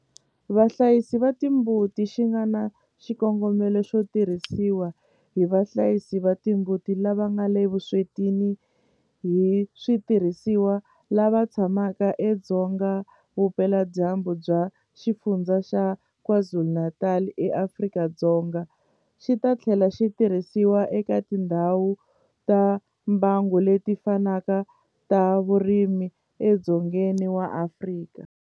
Vahlayisi va timbuti xi nga na xikongomelo xo tirhisiwa hi vahlayisi va timbuti lava nga le vuswetini hi switirhisiwa lava tshamaka edzonga vupeladyambu bya Xifundzha xa KwaZulu-Natal eAfrika-Dzonga, xi ta tlhela xi tirhisiwa eka tindhawu ta mbango leti fanaka ta vurimi edzongeni wa Afrika.